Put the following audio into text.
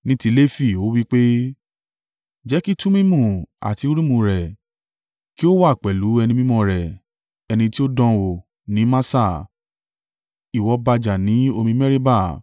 Ní ti Lefi ó wí pé, “Jẹ́ kí Tumimu àti Urimu rẹ kí ó wà pẹ̀lú ẹni mímọ́ rẹ. Ẹni tí ó dánwò ní Massa, ìwọ bá jà ní omi Meriba.